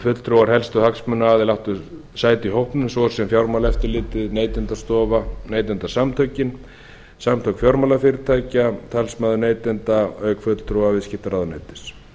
fulltrúar helstu hagsmunaaðila áttu sæti í hópnum svo sem fjármálaeftirlitið neytendastofa neytendasamtökin samtök fjármálafyrirtækja og talsmaður neytenda auk fulltrúa viðskiptaráðuneytis